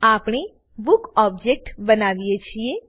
આપણે book object બનાવીએ છીએ